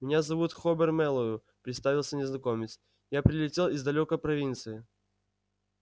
меня зовут хобер мэллоу представился незнакомец я прилетел из далёкой провинции